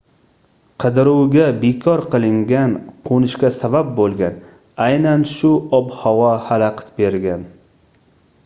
qidiruvga bekor qilingan qoʻnishga sabab boʻlgan aynan shu ob-havo xalaqit bergan